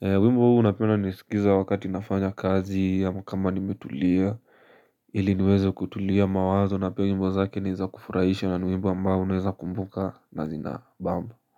Wimbo huu napenda niusikiza wakati nafanya kazi, ama kama nimetulia, ili niweze kutulia mawazo na pia wimbo zake ni za kufuraisha, na ni wimbo ambao unaweza kumbuka na zinabamba.